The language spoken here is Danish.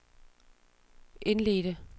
indledte